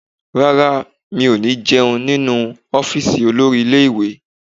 Rárá, mi ò ní jẹun nínú ọ́fíìsì olórí ilé ìwé